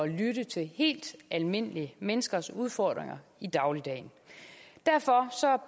lytte til helt almindelige menneskers udfordringer i dagligdagen derfor